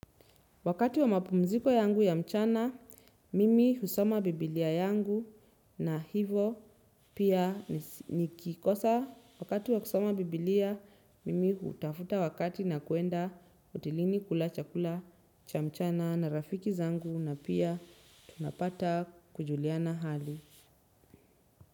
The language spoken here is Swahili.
Wakati wa mapumziko yangu ya mchana, mimi husoma Biblia yangu na hivo pia nikikosa. Wakati wa kusoma Biblia, mimi hutafuta wakati na kuenda utilini kula chakula cha mchana na rafiki zangu na pia, tunapata kujuliana hali.